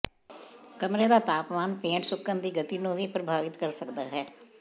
ਕਮਰੇ ਦਾ ਤਾਪਮਾਨ ਪੇਂਟ ਸੁੱਕਣ ਦੀ ਗਤੀ ਨੂੰ ਵੀ ਪ੍ਰਭਾਵਿਤ ਕਰ ਸਕਦਾ ਹੈ